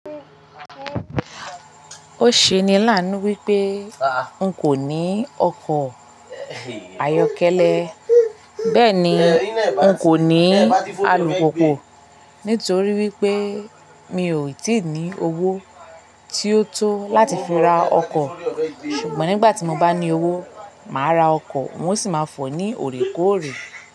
Ó ṣe ni láànú wípé hun kò ní ọkọ̀ ayọ́kẹ́lẹ́. Bẹ́ẹ̀ ni, n kò ní alùpùpù nítorí wípé mi ò tíì ní owó tí ó tó láti fi ra ọkọ̀. Ṣùgbọ́n nígbà tí mo bá ní owó, màá ra ọkọ̀ mo sì máa fọ̀ ọ́ ní òrékóòrè.